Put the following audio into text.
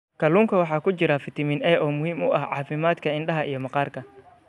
Kalluunka waxaa ku jira fitamiin A oo muhiim u ah caafimaadka indhaha iyo maqaarka.